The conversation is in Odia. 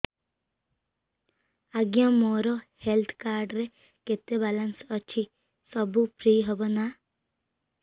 ଆଜ୍ଞା ମୋ ହେଲ୍ଥ କାର୍ଡ ରେ କେତେ ବାଲାନ୍ସ ଅଛି ସବୁ ଫ୍ରି ହବ ନାଁ